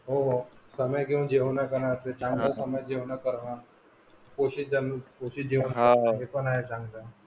हो हो घेऊन जेवण पण असते चांगल हे पण आहे चांगलं